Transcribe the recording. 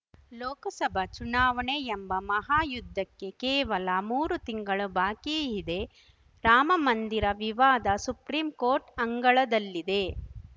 ಲೋಕಸಭಾ ಚುನಾವಣೆ ಎಂಬ ಮಹಾಯುದ್ಧಕ್ಕೆ ಕೇವಲ ಮೂರು ತಿಂಗಳು ಬಾಕಿ ಇದೆ ರಾಮಮಂದಿರ ವಿವಾದ ಸುಪ್ರೀಂಕೋರ್ಟ್‌ ಅಂಗಳದಲ್ಲಿದೆ